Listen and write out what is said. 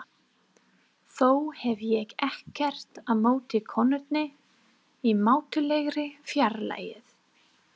Þó hef ég ekkert á móti konunni í mátulegri fjarlægð.